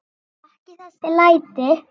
Ekki þessi læti.